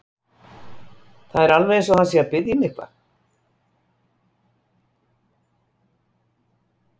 Það er alveg eins og hann sé að biðja mig um að gera eitthvað.